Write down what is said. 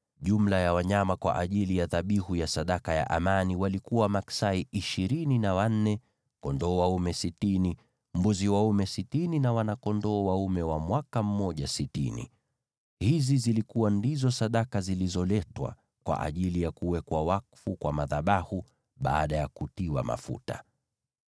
Jumla ya wanyama kwa ajili ya dhabihu ya sadaka ya amani walikuwa maksai ishirini na wanne, kondoo dume sitini, mbuzi dume wa mwaka mmoja sitini na wana-kondoo dume wa mwaka mmoja sitini. Hizi ndizo zilikuwa sadaka zilizoletwa kwa ajili ya kuwekwa wakfu kwa madhabahu baada ya kutiwa mafuta.